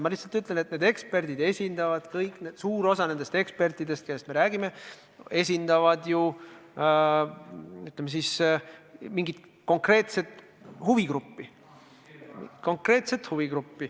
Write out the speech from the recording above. Ma lihtsalt ütlen, et suur osa nendest ekspertidest, kellest me räägime, esindavad mingit konkreetset huvigruppi.